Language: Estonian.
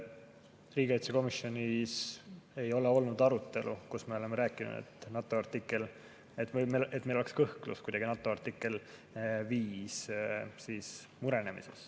Riigikaitsekomisjonis ei ole olnud arutelu, kus me oleme rääkinud, et meil oleks kuidagi kõhklus, et NATO artikkel 5 mureneks.